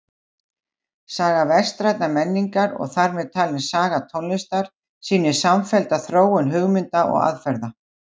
Saga vestrænnar menningar og þar með talin saga tónlistar sýnir samfellda þróun hugmynda og aðferða.